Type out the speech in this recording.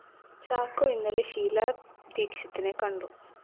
ചാക്കോ ഇന്നലെ ഷീലാ ദീക്ഷിതിനെ കണ്ടു